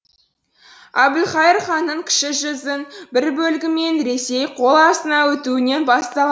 әбілқайыр ханның кіші жүздің бір бөлігімен ресей қол астына өтуінен бастала